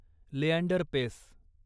Leander Paes